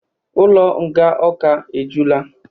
Ụlọ nga Awka e jula